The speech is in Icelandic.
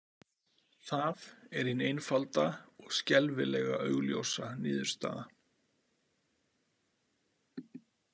Það er hin einfalda og skelfilega augljósa niðurstaða.